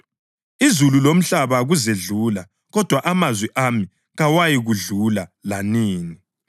Izulu lomhlaba kuzedlula, kodwa amazwi ami kawayikwedlula lanini.